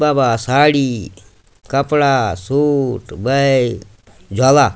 बाबा साड़ी कपड़ा suit bag झ्वाला।